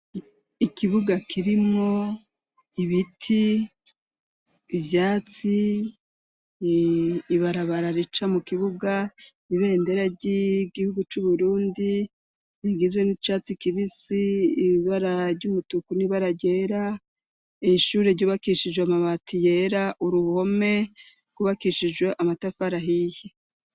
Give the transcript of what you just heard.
Ikibuga kirimo ibiti ivyatsi ibarabararica mu kibuga ibendera ry'igihugu c'Uburundi bigizwe n'icatsi kibisi ibibara ry'umutuku n'ibaragera ishure ryubakishijwe amabati yera uruhome kubakishijwe amatafari ahiye.